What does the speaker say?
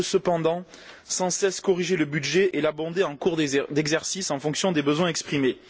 on ne peut cependant sans cesse corriger le budget et l'abonder en cours d'exercice en fonction des besoins exprimés.